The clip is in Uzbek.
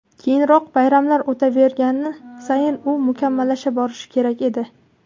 Keyinroq, bayramlar o‘tavergani sayin, u mukammallasha borishi kerak edi.